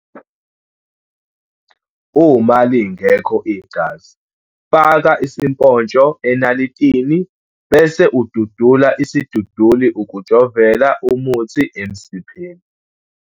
Uma lingekho igazi, faka isipontsho enalitini bese ududula isiduduli ukujovela umuthi emsipheni.